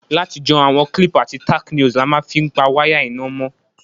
Látijọ́, àwon clip àti tacknails la ma n fi pa wire iná mó